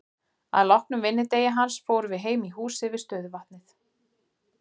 Að loknum vinnudegi hans fórum við heim í húsið við stöðuvatnið.